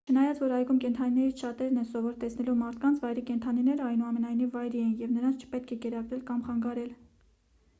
չնայած որ այգում կենդանիներից շատերն են սովոր տեսնելու մարդկանց վայրի կենդանիները այնուամենայնիվ վայրի են և նրանց չպետք է կերակրել կամ խանգարել